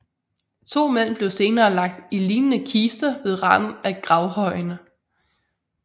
To mænd blev senere lagt i lignende kister ved randen af gravhøjen